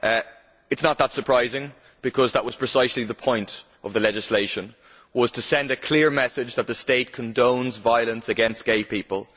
It is not that surprising, because that was precisely the point of the legislation to send a clear message that the state condones violence against gay people.